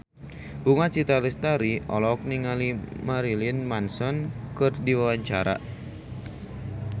Bunga Citra Lestari olohok ningali Marilyn Manson keur diwawancara